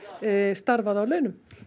starfað á launum